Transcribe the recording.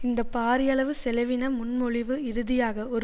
இந்த பாரியளவு செலவின முன்மொழிவு இறுதியாக ஒரு